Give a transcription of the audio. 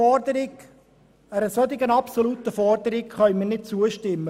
Einer derart absoluten Forderung können wir nicht zustimmen.